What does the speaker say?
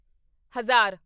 ਹਜ਼ਾਰ